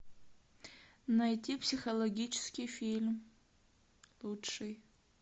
найти психологический фильм лучший